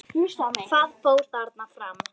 Hvað fór þarna fram?